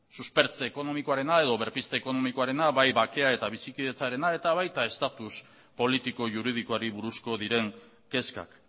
suspertze ekonomikoarena edo berpizte ekonomikoarena bai baketa eta bizikidetzarena eta baita estatus politiko juridikoari buruzko diren kezkak